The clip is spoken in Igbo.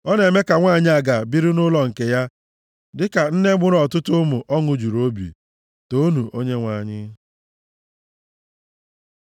Ọ na-eme ka nwanyị aga biri nʼụlọ nke ya dịka nne mụrụ ọtụtụ ụmụ ọṅụ juru obi. Toonu Onyenwe anyị.